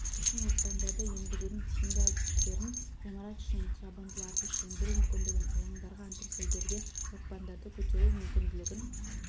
үшін оқпандарды енгізудің тиімді әдістерін ғимарат ішінен жабындыларды сөндіру мүмкіндігін алаңдарға антресольдерге оқпандарды көтеру мүмкінділігін